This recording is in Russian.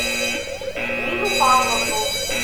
нину павловну